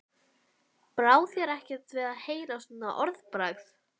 Brá þér ekkert við að heyra svona orðbragð?